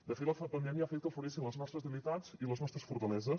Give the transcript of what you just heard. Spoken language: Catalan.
de fet la pandèmia ha fet que afloressin les nostres debilitats i les nostres fortaleses